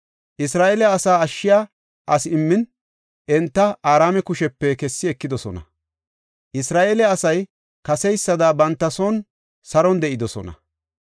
Isra7eele asa ashshiya asi immin, enta Araame kushepe kessi ekidosona. Isra7eele asay kaseysada banta son saron de7idosona.